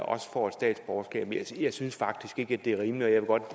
også får statsborgerskab jeg synes faktisk ikke det er rimeligt og